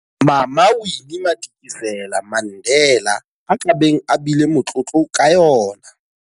Mama Winnie Madikizela-Mandela a ka beng a bile motlotlo ka yona.